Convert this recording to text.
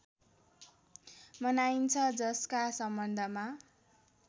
मनाइन्छ जसका सम्बन्धमा